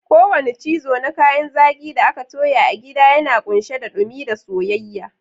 Kowane cizo na kayan zaki da aka toya a gida yana kunshe da dumi da soyayya.